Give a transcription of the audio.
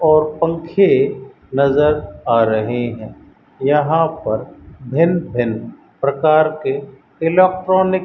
और पंखे नजर आ रहे है यहां पर भिन्न भिन्न प्रकार के इलेक्ट्रॉनिक --